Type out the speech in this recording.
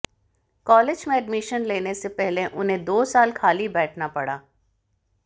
college में admission लेने से पहले उन्हें दो साल खाली बैठना पड़ा